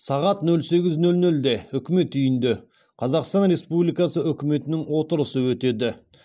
сағат нөл сегіз нөл нөлде үкімет үйінде қазақстан республикасы үкіметінің отырысы өтеді